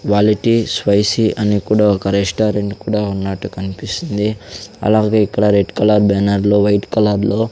quality spicy అని కుడ ఒక రెస్టారెంట్ కుడ ఉన్నట్టు కనిపిస్తుంది అలాగే ఇక్కడ రెడ్ కలర్ బ్యానర్ లో వైట్ కలర్ లో --